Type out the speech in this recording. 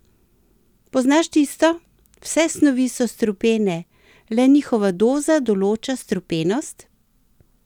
Poznaš tisto: "Vse snovi so strupene, le njihova doza določa strupenost"?